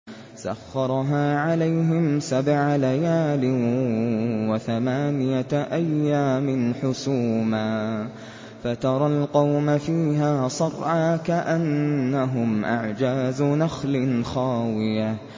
سَخَّرَهَا عَلَيْهِمْ سَبْعَ لَيَالٍ وَثَمَانِيَةَ أَيَّامٍ حُسُومًا فَتَرَى الْقَوْمَ فِيهَا صَرْعَىٰ كَأَنَّهُمْ أَعْجَازُ نَخْلٍ خَاوِيَةٍ